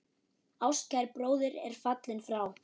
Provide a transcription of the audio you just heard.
Ástkær bróðir er fallinn frá.